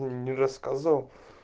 он не рассказывал